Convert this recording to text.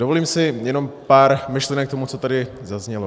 Dovolím si jenom pár myšlenek k tomu, co tady zaznělo.